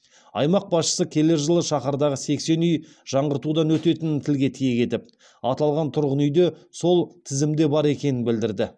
аймақ басшысы келер жылы шаһардағы сексен үй жаңғыртудан өтетінін тілге тиек етіп аталған тұрғын үй де сол тізімде бар екенін білдірді